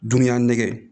Dunuya nɛgɛ